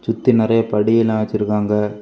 சுத்தி நிறைய படி எல்லாம் வச்சிருக்காங்க.